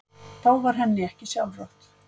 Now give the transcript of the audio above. Þá var henni ekki sjálfrátt.